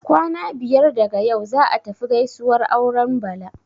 Kwana biyar daga yau, za'a tafi gaisuwar auren Bala.